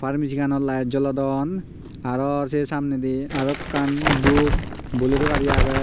arow mijing anot laet jolodon arw se samnedi dup bol ero gari agey.